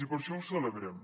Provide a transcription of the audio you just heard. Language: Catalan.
i per això ho celebrem